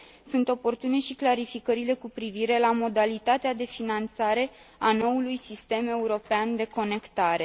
Sunt oportune și clarificările cu privire la modalitatea de finanțare a noului sistem european de conectare.